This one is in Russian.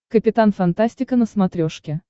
капитан фантастика на смотрешке